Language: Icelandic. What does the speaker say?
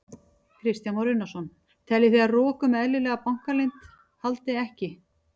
Kristján Már Unnarsson: Teljið þið að rok um eðlilega bankaleynd haldi ekki?